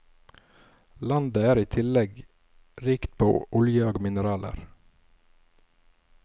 Landet er i tillegg rikt på olje og mineraler.